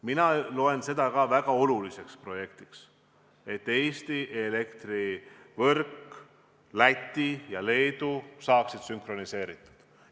Mina pean sedagi väga oluliseks projektiks, seda, et Eesti, Läti ja Leedu elektrivõrk saaks sünkroniseeritud.